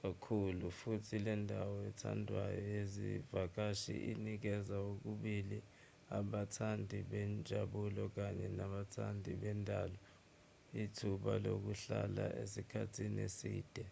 kakhulu futhi lendawo ethandwayo yezivakashi inikeza kokubili abathandi benjabulo kaye nabathandi bendalo ithuba lokuhlala isikhathi eside